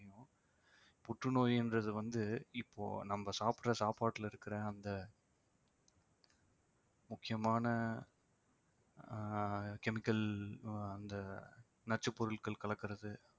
புற்றுநோய்ன்றது வந்து இப்போ நம்ம சாப்பிடற சாப்பாட்டுல இருக்கிற அந்த முக்கியமான ஆஹ் chemical அ அந்த நச்சுப்பொருட்கள் கலக்கறது